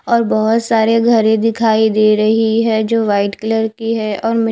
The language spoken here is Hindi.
और बोहोत सारे घरे दिखाई दे रही है जो वाइट कलर की है और मिट--